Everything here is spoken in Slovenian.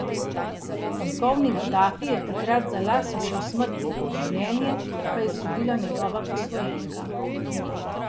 Polkovnik Gadafi je takrat za las ušel smrti, življenje pa je izgubila njegova posvojenka.